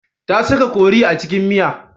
Ta saka kori a cikin miya.